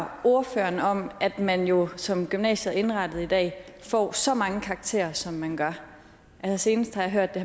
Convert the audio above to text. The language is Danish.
ordføreren om at man jo som gymnasiet er indrettet i dag får så mange karakterer som man gør senest har jeg hørt det